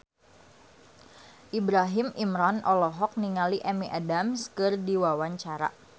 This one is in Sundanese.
Ibrahim Imran olohok ningali Amy Adams keur diwawancara